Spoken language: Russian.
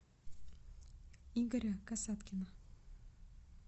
игоря касаткина